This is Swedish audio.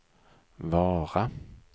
Vara